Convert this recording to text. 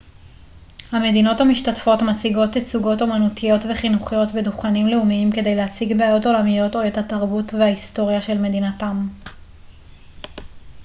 המדינות המשתתפות מציגות תצוגות אומנותיות וחינוכיות בדוכנים לאומיים כדי להציג בעיות עולמיות או את התרבות וההיסטוריה של מדינתם